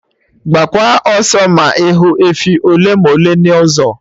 Gbaakwa ọsọ ma ịhụ efi ole ma ole n'ụzọ